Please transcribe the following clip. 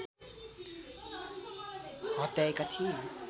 हत्याएका थिए